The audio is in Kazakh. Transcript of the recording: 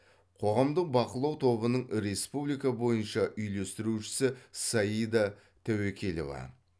қоғамдық бақылау тобының республика бойынша үйлестірушісі саида тәуекелева